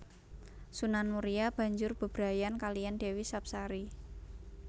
Sunan Muria banjur bebrayan kaliyan Dewi Sapsari